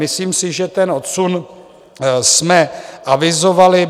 Myslím si, že ten odsun jsme avizovali.